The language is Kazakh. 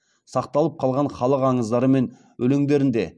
сақталып қалған халық аңыздары мен өлеңдерінде